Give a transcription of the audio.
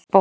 Bót